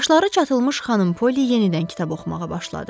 Qaşları çatılmış xanım Polly yenidən kitab oxumağa başladı.